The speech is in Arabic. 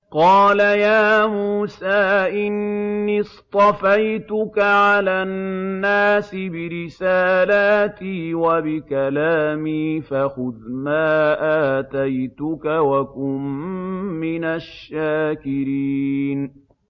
قَالَ يَا مُوسَىٰ إِنِّي اصْطَفَيْتُكَ عَلَى النَّاسِ بِرِسَالَاتِي وَبِكَلَامِي فَخُذْ مَا آتَيْتُكَ وَكُن مِّنَ الشَّاكِرِينَ